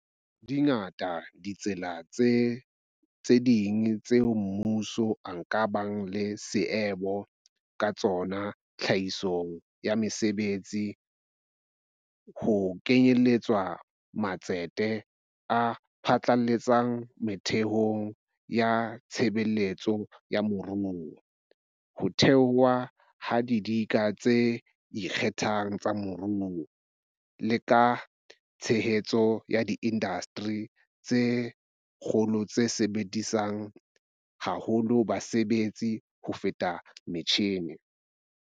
Dingata ditsela tse ding tseo mmuso o ka bang le seabo ka tsona tlhahisong ya mesebetsi, ho kenyeletswa matsete a phatlaletseng metheong ya tshebetso ya moruo, ho thewa ha didika tse ikgethang tsa moruo, le ka tshehetso ya diindasteri tsa kgolo tse sebedisang haholo basebetsi ho feta metjhine.